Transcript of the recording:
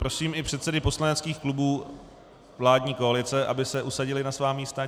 Prosím i předsedy poslaneckých klubů vládní koalice, aby se usadili na svá místa.